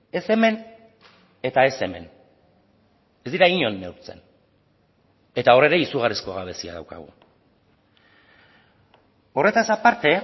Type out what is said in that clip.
ez hemen eta ez hemen ez dira inon neurtzen eta hor ere izugarrizko gabezia daukagu horretaz aparte